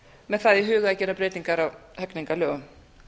með það í huga að gera breytingar á hegningarlögum